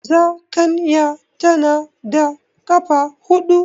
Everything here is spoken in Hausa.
Zakanya tana da ƙafa huɗu.